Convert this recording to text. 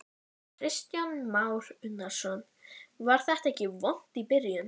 Þú átt eftir að iðrast þess í fyrramálið.